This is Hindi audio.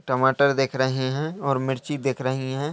टमाटर दिख रहें हैं और मिर्ची दिख रहीं हैं।